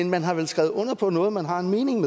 man har vel skrevet under på noget man har en mening